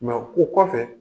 Mɛ ko kɔfɛ